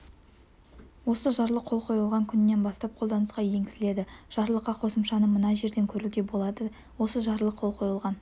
осы жарлық қол қойылған күнінен бастап қолданысқа енгізіледі жарлыққа қосымшаны мына жерден көруге болады осы жарлық қол қойылған